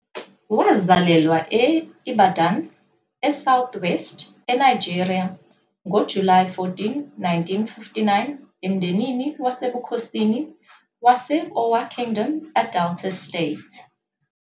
Wazalelwa e-Ibadan, eSouth West, eNigeria ngoJulayi 14, 1959 emndenini wasebukhosini wase-Owa Kingdom, eDelta State.